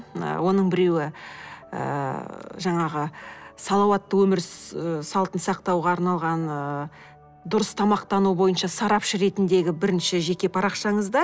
ы оның біреуі ыыы жаңағы салауатты өмір ы салтын сақтауға арналған ыыы дұрыс тамақтану бойынша сарапшы ретіндегі бірінші жеке парақшаныз да